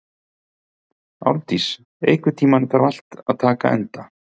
Árndís, einhvern tímann þarf allt að taka enda.